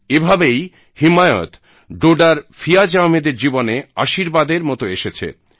এভাবেই হিমায়ত ডোডার ফিয়াজ আহমেদের জীবনে আশীর্বাদের মতো এসেছে